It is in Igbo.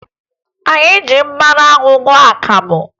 Anyị ji mmanụ anwụ ṅụọ akamụ